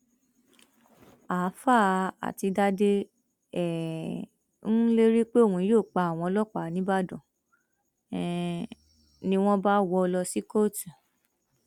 àáfàá àtidàde um ń lérí pé òun yóò pa àwọn ọlọpàá nígbàdàn um ni wọn bá wọ ọ lọ sí kóòtù